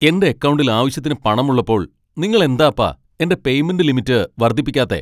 എന്റെ അക്കൗണ്ടിൽ ആവശ്യത്തിന് പണമുള്ളപ്പോൾ നിങ്ങൾ എന്താപ്പാ എന്റെ പേയ്മെന്റ് ലിമിറ്റ് വർദ്ധിപ്പിക്കാത്തേ ?